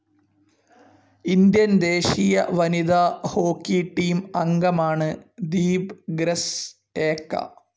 Indian ദേശീയ വനിതാ hockey team അംഗമാണ് ദീപ് ഗ്രെസ്സ് ഏക്ക.